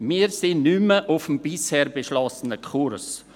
Wir sind nicht mehr auf dem bisher beschlossenen Kurs.